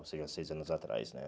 Ou seja, seis anos atrás, né?